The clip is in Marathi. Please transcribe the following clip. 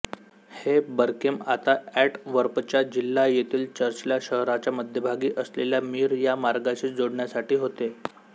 हे बर्केम आता अँटवर्पचा जिल्हा येथील चर्चला शहराच्या मध्यभागी असलेल्या मीर या मार्गाशी जोडण्यासाठी होते